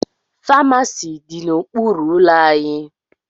Famasi dị n'okpuru ụlọ anyị